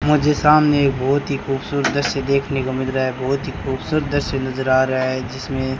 मुझे सामने एक बहोत ही खूबसूरत दृश्य देखने को मिल रा है बहोत ही खूबसूरत दृश्य नजर आ रा है जिसमें--